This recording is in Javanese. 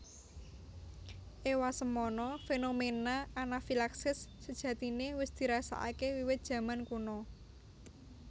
Ewasemono fenomena anafilaksis sejatine wis dirasakake wiwit jaman kuna